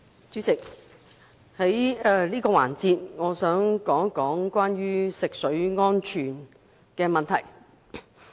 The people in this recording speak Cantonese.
主席，我想在這個環節談談食水安全問題。